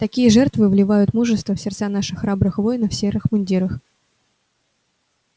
такие жертвы вливают мужество в сердца наших храбрых воинов в серых мундирах